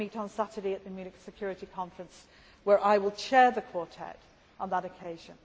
They meet on Saturday at the Munich Security Conference, where I will chair the Quartet on that occasion.